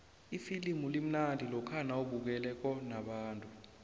ifilimu limnandi lokha nawubukele nabantu